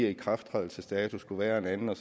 at ikrafttrædelsesdatoen skulle være en anden